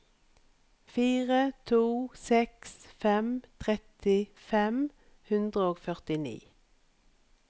fire to seks fem tretti fem hundre og førtini